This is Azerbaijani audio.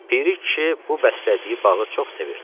Piri kişi bu bəslədiyi bağı çox sevirdi.